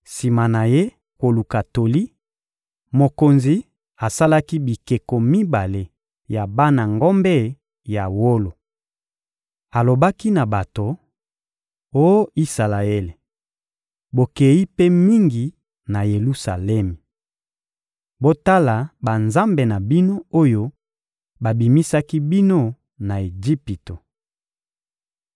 Sima na ye koluka toli, mokonzi asalaki bikeko mibale ya bana ngombe ya wolo. Alobaki na bato: — Oh Isalaele, bokeyi mpe mingi na Yelusalemi! Botala banzambe na bino oyo babimisaki bino na Ejipito.